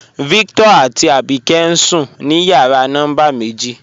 Víctọ̀r àtí Àbíkẹ̀ ǹ sùn ní yàrà nọ́mbà mẹ̀jì.